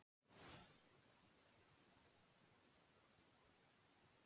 Þetta eru sanngjörn úrslit, bæði lið fengu færi til að vinna